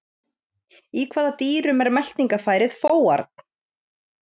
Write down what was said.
Í hvaða dýrum er meltingafærið fóarn?